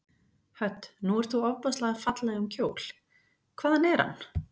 Hödd: Nú ert þú ofboðslega fallegum kjól, hvaðan er hann?